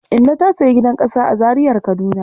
Inna ta sayi gidan ƙasa a Zariar Kaduna..